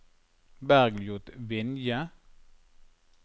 Bergljot Vinje